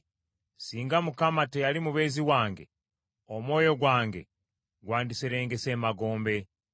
Singa Mukama teyali mubeezi wange, omwoyo gwange gwandiserengese emagombe.